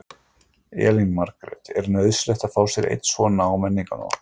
Elín Margrét: Er nauðsynlegt að fá sér einn svona á Menningarnótt?